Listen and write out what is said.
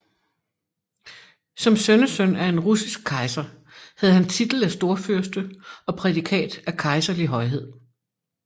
Som sønnesøn af en russisk kejser havde han titel af storfyrste og prædikat af kejserlig højhed